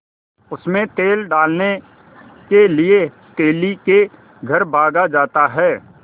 उनमें तेल डालने के लिए तेली के घर भागा जाता है